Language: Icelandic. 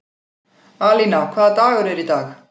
Alína, hvaða dagur er í dag?